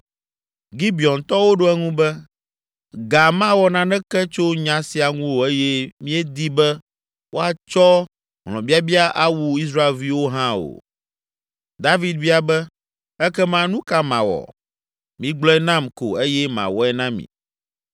Gibeontɔwo ɖo eŋu be, “Ga mawɔ naneke tso nya sia ŋu o eye míedi be woatsɔ hlɔ̃biabia awu Israelviwo hã o.” David bia be, “Ekema nu ka mawɔ? Migblɔe nam ko eye mawɔe na mi.”